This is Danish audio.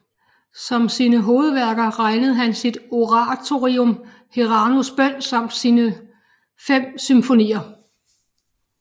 Som sine hovedværker regnede han sit oratorium Herrans bön samt sine 5 symfonier